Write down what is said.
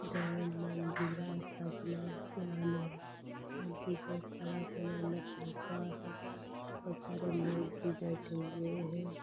ढोल मंजीरा तबला पियानो और भी बहुत सारा सामान रखा हुआ है बहुत सारे लोग भी बैठे हुए हैं।